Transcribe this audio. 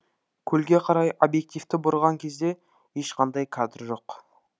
көлге қарай объективті бұрған кезде ешқандай кадр жоқ